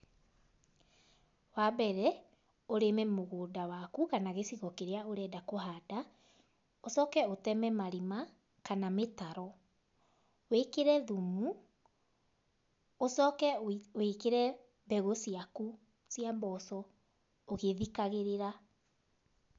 Wa mbere, ũrĩme mũgũnda waku kana gĩcigo kĩrĩa ũrenda kũhanda, ũcoke ũteme marima kana mĩtaro, wĩkĩre thumu, ũcoke wĩkĩre mbegũ ciaku cia mboco ũgĩthikagĩrĩra.